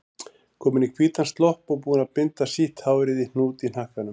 Komin í hvítan slopp og búin að binda sítt hárið í hnút í hnakkanum.